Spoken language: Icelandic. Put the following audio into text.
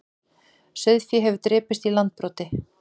Sauðfé hefur drepist í Landbroti